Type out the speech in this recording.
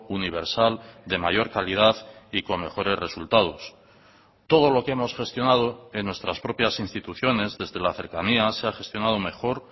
universal de mayor calidad y con mejores resultados todo lo que hemos gestionado en nuestras propias instituciones desde la cercanía se ha gestionado mejor